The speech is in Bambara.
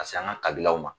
Ka se an ka kabilaw ma